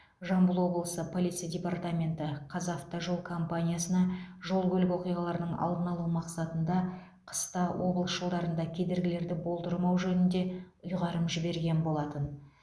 жамбыл облысы полиция департаменті қазавтожол компаниясына жол көлік оқиғаларының алдын алу мақсатында қыста облыс жолдарында кедергілерді болдырмау жөнінде ұйғарым жіберген болатын